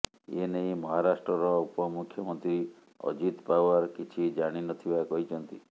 ଏନେଇ ମହାରାଷ୍ଟ୍ରର ଉପମୁଖ୍ୟମନ୍ତ୍ରୀ ଅଜିତ ପାଓ୍ବାର କିଛି ଜାଣିନଥିବା କହିଛନ୍ତି